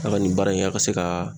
A ka nin baara in, a ka se ka